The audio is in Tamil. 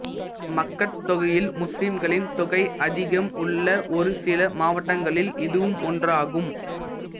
மக்கட் தொகையில் முஸ்லிம்களின் தொகை அதிகம் உள்ள ஒரு சில மாவட்டங்களில் இதுவும் ஒன்றாகும்